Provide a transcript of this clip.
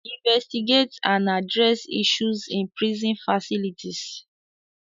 Investigate and address issues in prison facilities.